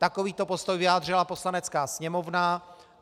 Takovýto postoj vyjádřila Poslanecká sněmovna.